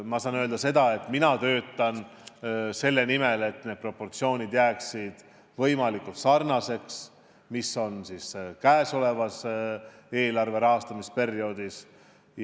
Ma saan öelda seda, et mina töötan selle nimel, et need proportsioonid jääksid võimalikult sarnaseks nendega, mis on praegusel eelarve rahastamise perioodil.